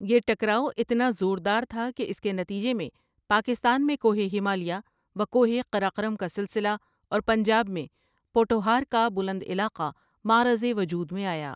یہ ٹکرائو اتنا زور دار تھا کہ اس کے نتیجہ میں پاکستان میں کوہ ہمالیہ و کوہ قراقرم کا سلسلہ اور پنجاب میں پوٹھوہار کا بلند علاقہ معرض وجود میں آیا ۔